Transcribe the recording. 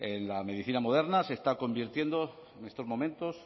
la medicina moderna se está convirtiendo en estos momentos